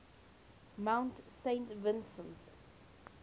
mount saint vincent